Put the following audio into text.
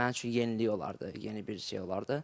Mənim üçün yenilik olardı, yeni bir şey olardı.